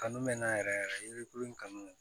Kanu mɛ n na yɛrɛ yɛrɛ yirikulu in kanu